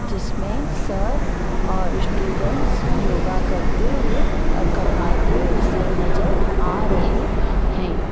जिसमें सर और स्टूडेंट्स योगा करते हुए और करवाते हुए सर नज़र आ रहे हैं।